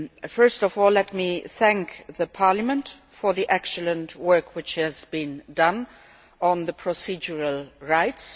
First of all, let me thank the Parliament for the excellent work which has been done on the procedural rights.